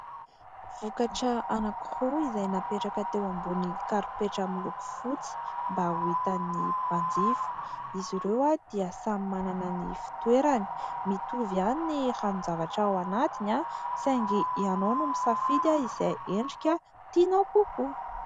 Vokatra anankiroa izay napetraka teo ambony karipetra miloko fotsy mba ho hitan'ny mpanjifa. Izy ireo dia samy manana ny fitoerany, mitovy ihany ny ranon-javatra ao anatiny saingy ianao no misafidy izay endrika tianao kokoa.